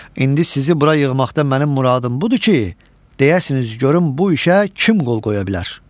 İndi sizi bura yığmaqda mənim muradım budur ki, deyəsiniz, görüm bu işə kim qol qoya bilər?